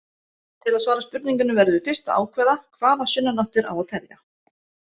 Til að svara spurningunni verðum við fyrst að ákveða hvaða sunnanáttir á að telja.